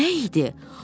Bu nə idi?